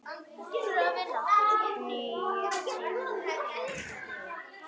Nýir tímar tóku við.